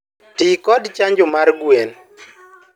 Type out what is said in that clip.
Ti kod chanjo mar gwen